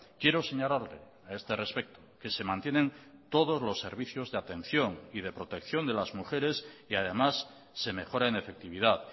quiero señalarle a este respecto que se mantienen todos los servicios de atención y de protección de las mujeres y además se mejora en efectividad